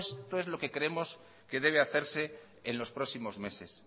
esto es lo que creemos que debe hacerse en los próximos meses